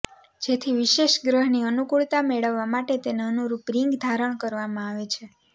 જેથી વિશેષ ગ્રહની અનુકૂળતા મેળવવા માટે તેને અનુરૂપ રીંગ ધારણ કરવામાં આવે છે